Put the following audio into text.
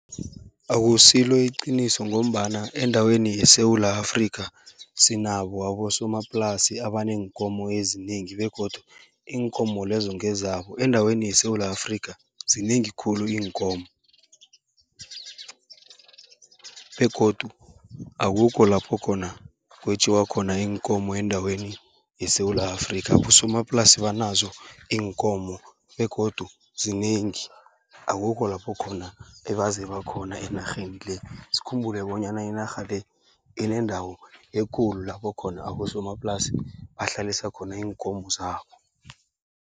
Akusilo iqiniso ngombana endaweni yeSewula Afrika, sinabo abosomaplasi abaneenkomo ezinengi begodu iinkomo lezo ngezabo. Endaweni yeSewula Afrika, zinengi khulu iinkomo begodu akukho lapho khona kwetjiwa khona iinkomo endaweni yeSewula Afrika. Abosomaplasi banazo iinkomo begodu zinengi, akukho lapho khona ebazeba khona enarheni le. Sikhumbule bonyana inarha le inendawo ekulu, lapho khona abosomaplasi bahlalisa khona iinkomo zabo.